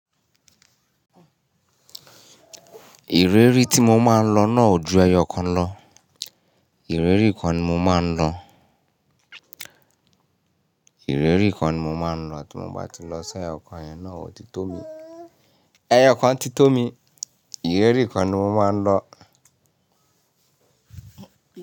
Ìrérí tí mo máa ń lọ náà ò ju ẹyọ kan lọ. Ìrirí kan ni mo máa ń lọ. Ìrérí kan ni mo máa ń lọ tí mo bá ti lọ si, ẹyọ kan yi náà ò ti tó mi. Ẹyọ kan ti tó mi. Ìrérí kan ni mo máa ń lọ.